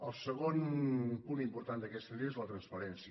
el segon punt important d’aquesta llei és la transparència